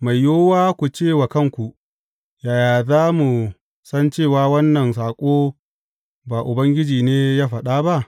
Mai yiwuwa ku ce wa kanku, Yaya za mu san cewa wannan saƙo ba Ubangiji ne ya faɗa ba?